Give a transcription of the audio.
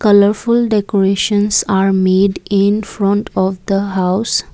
colourful decorations are made in front of the house.